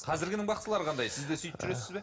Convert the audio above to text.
қазіргінің бақсылары қандай сіз де сөйтіп жүресіз бе